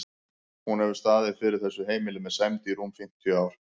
Hún hefur staðið fyrir þessu heimili með sæmd í rúm fimmtíu ár.